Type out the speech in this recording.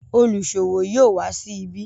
oluṣowo yóò wa sí ibi.